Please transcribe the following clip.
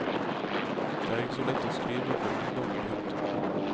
Det er ikke så lett å skrive for ungdom. punktum